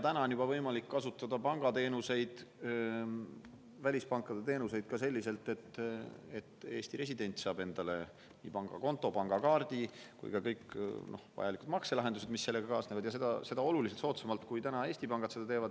Juba on võimalik kasutada välispankade teenuseid ka selliselt, et Eesti resident saab endale nii pangakonto, pangakaardi kui ka kõik vajalikud makselahendused, ja seda oluliselt soodsamalt kui Eesti pangad.